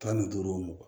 Tan ni duuru wo mugan